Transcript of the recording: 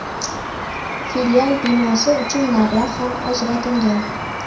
Filial binosi uchun mablag‘ ham ajratilgan.